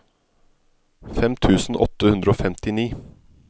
fem tusen åtte hundre og femtini